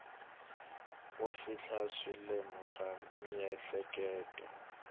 ko fihla swilemu swa miehleketo